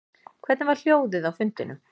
Hvernig var hljóðið á fundinum